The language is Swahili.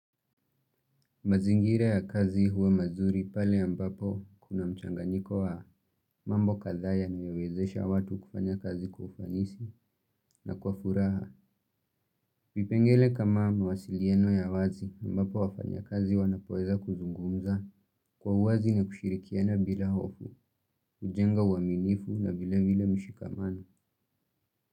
Mazingira ya kazi huwa mazuri pale ambapo kuna mchanganiko wa mambo kadhaa yanayowezesha watu kufanya kazi kwa ufanisi na kwa furaha. Vipengele kama mawasiliano ya wazi ambapo wafanyikazi wanapoweza kuzungumza kwa uwazi na kushirikiana bila hofu, kujenga uaminifu na vile vile mshikamano.